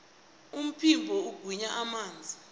umphimbo ugwinya amanzi